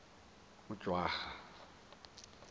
ujwara